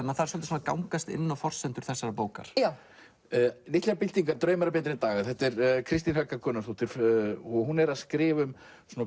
maður þarf að gangast inn á forsendur þessarar bókar litlar byltingar draumar um betri daga Kristín Helga Gunnarsdóttir og hún er að skrifa um